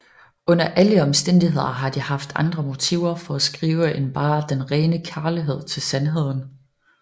Under alle omstændigheder har de haft andre motiver for at skrive end bare den rene kærlighed til sandheden